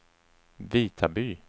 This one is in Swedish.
Vitaby